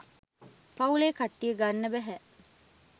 පවුලේ කට්ටිය ගන්න බැහැ.